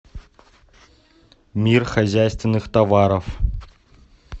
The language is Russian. мир хозяйственных товаров